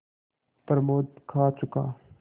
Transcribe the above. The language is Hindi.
प्रमोद खा चुका